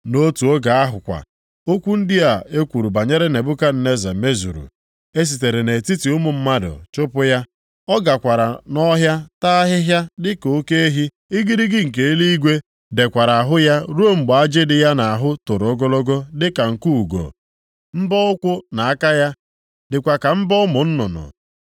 Nʼotu oge ahụ kwa, okwu ndị a e kwuru banyere Nebukadneza mezuru. E sitere nʼetiti ụmụ mmadụ chụpụ ya, ọ gakwara nʼọhịa taa ahịhịa dịka oke ehi, igirigi nke eluigwe dekwara ahụ ya ruo mgbe ajị dị ya nʼahụ toro ogologo dịka nku ugo, mbọ ụkwụ na aka ya dịkwa ka mbọ ụmụ nnụnụ.